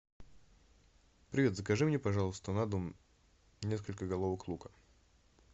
привет закажи мне пожалуйста на дом несколько головок лука